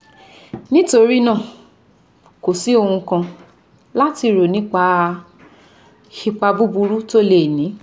Nítorí náà, kò sí ohun kan láti rò nípa ipa buburú tó lè ní